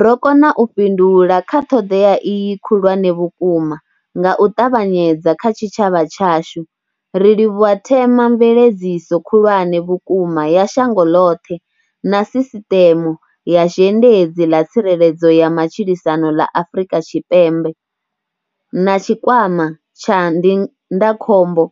Ro kona u fhindula kha ṱhoḓea iyi khulwane vhukuma nga u ṱavhanyedza kha tshitshavha tshashu, ri livhuwa themamveledziso khulwane vhukuma ya shango ḽoṱhe na sisiṱeme ya zhendedzi ḽa tsireledzo ya matshilisano ḽa Afrika Tshipembe na tshikwama tsha ndindakhombo